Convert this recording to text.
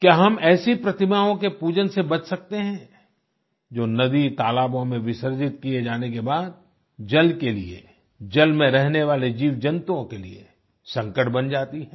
क्या हम ऐसी प्रतिमाओं के पूजन से बच सकते हैं जो नदीतालाबों में विसर्जित किये जाने के बाद जल के लिए जल में रहने वाले जीवजंतुओं के लिए संकट बन जाती है